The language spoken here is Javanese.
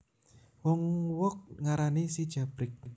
Wong wog ngarani Si Jabrik